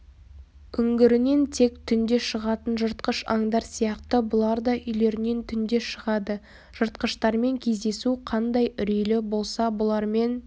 үңгірінен тек түнде шығатын жыртқыш аңдар сияқты бұлар да үйлерінен түнде шығады жыртқыштармен кездесу қандай үрейлі болса бұлармен